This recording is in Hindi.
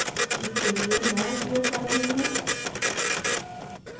इसके लिए मैं उपयोग कर रही हूँ